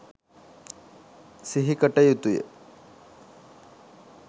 සිහිකට යුතුය.